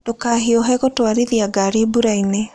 Ndũkahiũhe gũtwarithia ngari mbura-inĩ.